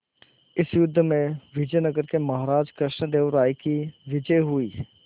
इस युद्ध में विजय नगर के महाराज कृष्णदेव राय की विजय हुई